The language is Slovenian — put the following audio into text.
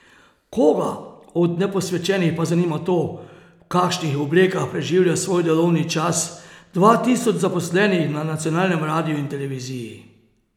Koga od neposvečenih pa zanima to, v kakšnih oblekah preživlja svoj delovni čas dva tisoč zaposlenih na nacionalnem radiu in televiziji?